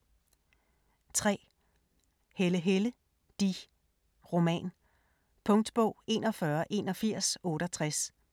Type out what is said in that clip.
3. Helle, Helle: de: roman Punktbog 418168